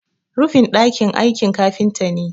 rufin daki aiki kafinta ne